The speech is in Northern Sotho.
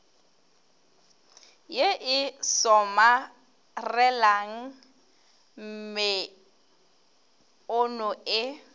ye e somarelang meono e